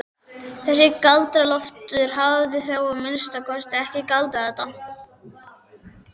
Þessi Galdra-Loftur hafði þá að minnsta kosti ekki galdrað þetta.